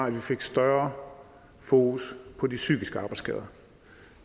at vi fik større fokus på de psykiske arbejdsskader